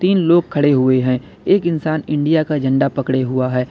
तीन लोग खड़े हुए हैं एक इंसान का इंडिया का झंडा पकड़े हुआ है।